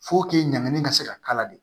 ɲangini ka se ka k'a la de